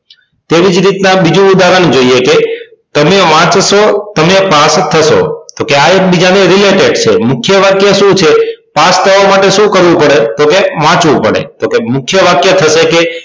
તેવી જ રીતના બીજું ઉદાહરણ જોઈએ કે તમે વાંચશો તમે પાસ થશો તો આ એક બીજાને related છે મુખ્ય વાક્ય શું છે પાસ થવા માટે શું કરવું પડે તો કે વાંચવું પડે તો કે મુખ્ય વાક્ય થશે કે